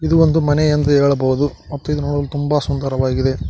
ಇದು ಒಂದು ಮನೆ ಎಂದು ಹೇಳಬಹುದು ಮತ್ತು ಇದು ನೋಡಲು ತುಂಬಾ ಸುಂದರವಾಗಿದೆ.